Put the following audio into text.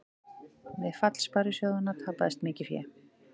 Við fall sparisjóðanna tapaðist mikið fé